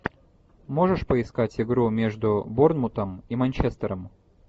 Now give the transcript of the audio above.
можешь поискать игру между борнмутом и манчестером